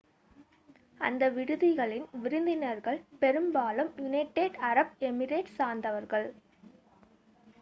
அந்த விடுதியின் விருந்தினர்கள் பெரும்பாலும் யுனைடெட் அரப் எமிரேட்ஸை சார்ந்தவர்கள்